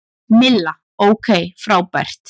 Milla: Ok frábært.